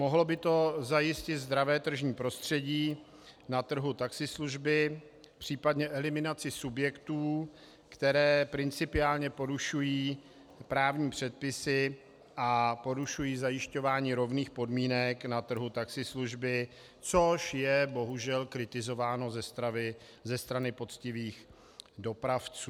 Mohlo by to zajistit zdravé tržní prostředí na trhu taxislužby, případně eliminaci subjektů, které principiálně porušují právní předpisy a porušují zajišťování rovných podmínek na trhu taxislužby, což je bohužel kritizováno ze strany poctivých dopravců.